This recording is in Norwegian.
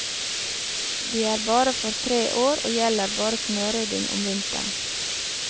De er bare for tre år, og gjelder bare snørydding om vinteren.